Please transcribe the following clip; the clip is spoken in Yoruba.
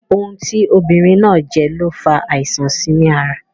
Ohun tí obìnrin náà jẹ ló fa àìsàn síi ní ara